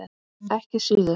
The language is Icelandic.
Ekki síður.